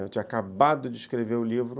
Eu tinha acabado de escrever o livro